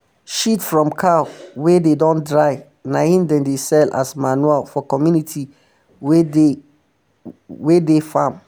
shit from cow wey dey don dry na him dem dey sell as manure for community wey dey wey dey farm